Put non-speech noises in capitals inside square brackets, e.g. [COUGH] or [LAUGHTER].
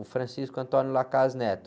O. [UNINTELLIGIBLE]